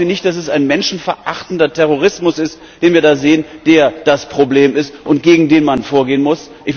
Glauben Sie nicht, dass es ein menschenverachtender Terrorismus ist, den wir da sehen, der das Problem ist und gegen den man vorgehen muss?